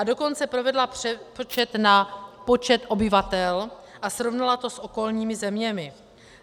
A dokonce provedla přepočet na počet obyvatel a srovnala to s okolními zeměmi.